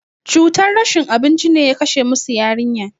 Cutar rashin abinci ne ya kashe musu yarinya.